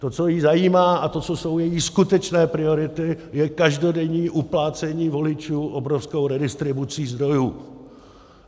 To, co ji zajímá, a to, co jsou její skutečné priority, je každodenní uplácení voličů obrovskou redistribucí zdrojů.